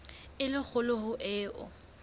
e le kgolo ho eo